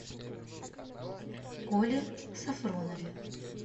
коле софронове